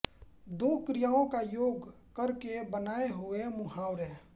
दो क्रियाओं का योग करके बनाए हुए मुहावरे